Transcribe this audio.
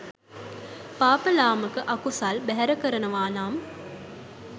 පාප ලාමක අකුසල් බැහැර කරනවා නම්